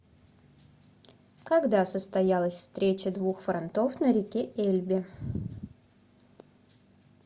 когда состоялась встреча двух фронтов на реке эльбе